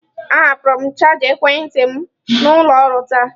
Ahapụrụ m chaja ekwentị m n'ụlọ ọrụ taa